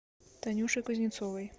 танюшей кузнецовой